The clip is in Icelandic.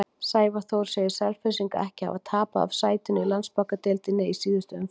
Sævar Þór segir Selfyssinga ekki hafa tapað af sætinu í Landsbankadeildinni í síðustu umferðunum.